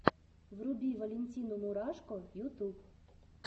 вруби валентину мурашко ютуб